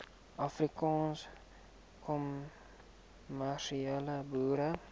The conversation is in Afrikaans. afrikaanse kommersiële boere